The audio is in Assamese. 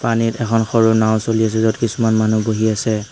পানীত এখন সৰু নাও চলি আছে য'ত কিছুমান মানুহ বহি আছে।